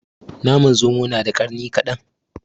Naman zomo na da ƙarni kaɗan